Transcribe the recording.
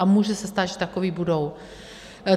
A může se stát, že takoví budou.